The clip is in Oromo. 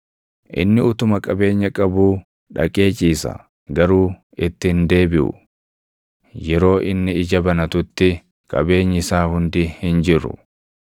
Inni utuma qabeenya qabuu dhaqee ciisa; garuu itti hin deebiʼu; yeroo inni ija banatutti, qabeenyi isaa hundi hin jiru.